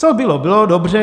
Co bylo, bylo. Dobře.